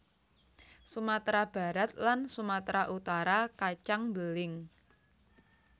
Sumatera Barat lan Sumatera Utara kacang beling